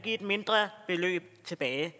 et mindre beløb tilbage